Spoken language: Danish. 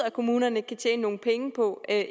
at kommunerne kan tjene nogle penge på at